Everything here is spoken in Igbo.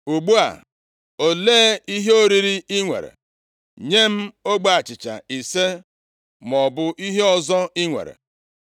Ugbu a, olee ihe oriri i nwere? Nye m ogbe achịcha ise maọbụ ihe ọzọ i nwere.”